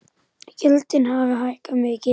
Gjöldin hafi hækkað mikið.